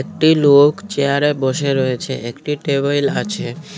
একটি লোক চেয়ারে বসে রয়েছে একটি টেবিল আছে।